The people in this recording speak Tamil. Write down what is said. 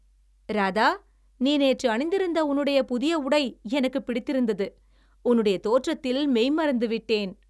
ராதா, நீ நேற்று அணிந்திருந்த உன்னுடைய புதிய உடை எனக்கு பிடித்திருந்தது. உன்னுடைய தோற்றத்தில் மெய் மறந்து விட்டேன்.